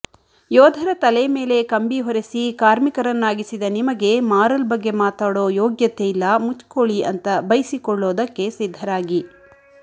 ಯೋಧರ ತಲೆಮೇಲೆ ಕಂಬಿ ಹೊರೆಸಿ ಕಾರ್ಮಿಕರನ್ನಾಗಿಸಿದ ನಿಮಗೆ ಮಾರಲ್ ಬಗ್ಗೆ ಮಾತಾಡೋ ಯೋಗ್ಯತೆ ಇಲ್ಲ ಮುಚ್ಕೋಳಿ ಅಂತ ಬಯ್ಸಿಕೊಳ್ಳೋದಕ್ಕೆ ಸಿದ್ಧರಾಗಿ